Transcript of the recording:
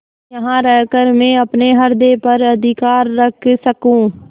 यहाँ रहकर मैं अपने हृदय पर अधिकार रख सकँू